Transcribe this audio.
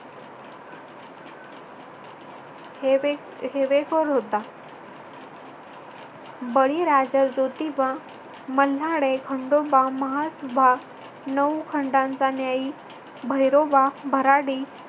हेवे हेवेखोर होता. बळीराजा, ज्योतिबा, मल्हारी, खंडोबा, म्हसोबा, नऊ खंडांचा न्यायी भैरोबा, भराडी